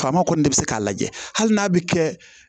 Faama kɔni de bɛ se k'a lajɛ hali n'a bɛ kɛ